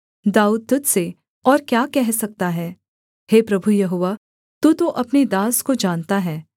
दाऊद तुझ से और क्या कह सकता है हे प्रभु यहोवा तू तो अपने दास को जानता है